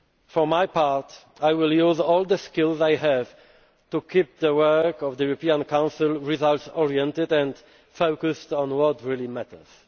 alone. For my part, I will use all the skills I have to keep the work of the European Council results oriented and focused on what really